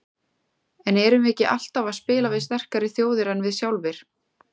En erum við ekki alltaf að spila við sterkari þjóðir en við sjálfir?